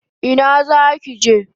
Ina zaki je?